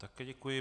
Také děkuji.